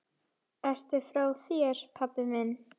Ertu frá þér, pabbi minn?